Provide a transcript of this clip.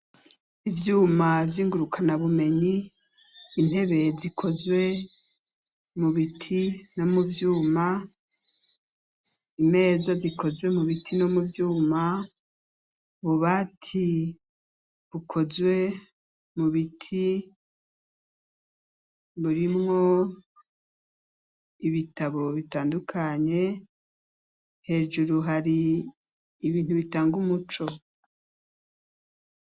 Ivyuma vy'ingurukanabumenyi, intebe zikozwe mu biti, no mu vyuma, imeza zikozwe mu biti, no mu vyuma, ububati bukozwe mu biti, burimwo ibitabo bitandukanye; hejuru, hari ibintu bitanga umuco.